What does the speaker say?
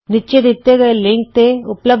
ਨੀਚੇ ਦਿੱਤੇ ਲਿੰਕ ਤੇ ਉਪਲਭਦ ਵੀਡੀਓ ਵੇਖੋ